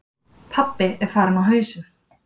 Pabbi er farinn á hausinn.